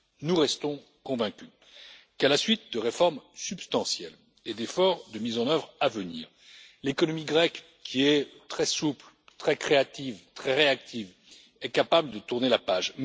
Nous restons convaincus qu'à la suite de réformes substantielles et de prochains efforts de mise en œuvre, l'économie grecque, qui est très souple, très créative et très réactive, est capable de tourner la page.